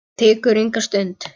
Það tekur enga stund.